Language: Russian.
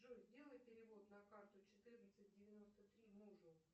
джой сделай перевод на карту четырнадцать девяносто три мужу